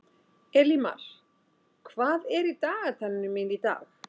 Elímar, hvað er í dagatalinu mínu í dag?